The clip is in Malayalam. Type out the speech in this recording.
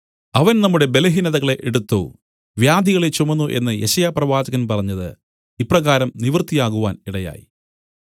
അവൻ നമ്മുടെ ബലഹീനതകളെ എടുത്തു വ്യാധികളെ ചുമന്നു എന്നു യെശയ്യാപ്രവാചകൻ പറഞ്ഞത് ഇപ്രകാരം നിവൃത്തിയാകുവാൻ ഇടയായി